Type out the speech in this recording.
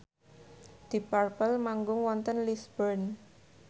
deep purple manggung wonten Lisburn